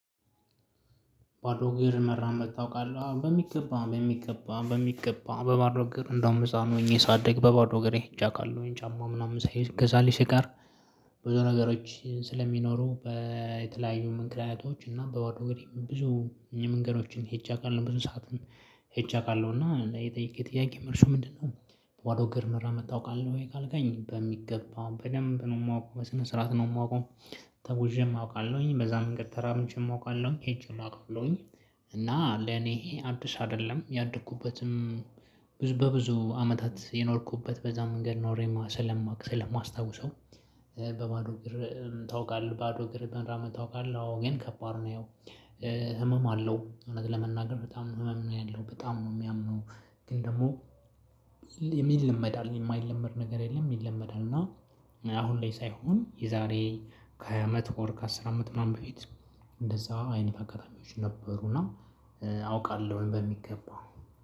ባዶ እግር መራመድ ታውቃለህ በሚገባ በሚገባ በሚገባ በባዶ እግር እንደውም ህፃን ሆኜ ሳደግ በባዶ እግሬ ሄጄ አውቃለው ጫማ ምናምን ሳይገዛልኝ ሲቀር። ብዙ ነገሮች ስለሚኖሩ በተለያዩ ምክንያቶች እና በባዶ እግሬ ብዙ መንገዶችን ሄጄ አውቃለው ብዙ ሰዓትን ሄጄ አውቃለሁ ና የጠየቅከኝ ጥያቄ መልሱ ምንድነው? በባዶ እግር መራመድ ታውቃለህ ወይ ካልከኝ በሚገባ በደንብ ነው የማውቀው በስነ ስርዓት ነው የማውቀው። ተጉዤም አውቃለሁኝ በዛ መንገድ ተራምጄም አውቃለሁኝ ሄጄን አውቃለውኝ። እና ለኔ ይሄ አዲስ አይደለም ያደኩበትም። ብዙ በብዙ አመታት የኖርኩበት በዛ መንገድ ኖሬ ስለማውቅ ስለማስታውሰው። በባዶ እግር ታውቃለህ ባዶ እግር መራመድ ታውቃለህ? ግን ከባድ ነው። ያው ህመም አለው እውነት ለመናገር በጣም ህመም ነው ያለው በጣም ነው የሚያምነው። ግን ደግሞ ይለመዳል የማይለመድ ነገር የለም ይለመዳል። እና አሁን ላይ ሳይሆን የዛሬ ከሃያ አመት በኋላ ከአስር አመት ምናምን በፊት። እንደዛ አይነት አጋጣሚዎች ነበሩ እና አውቃለሁ። በሚገባ